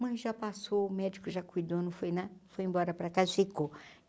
Mãe já passou, o médico já cuidou, não foi na foi embora para casa, ficou.